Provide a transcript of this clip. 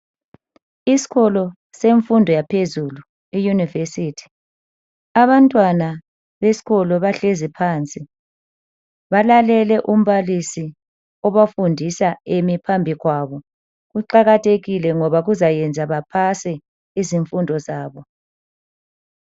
Isikolo semfundo yaphezulu iUniversity. Abantwana besikolo bahlezi phansi .Balalele umbalisi obafundisa emi phambi kwabo. Kuqakathekile ngoba kuzayenza bepase izifundo zabo.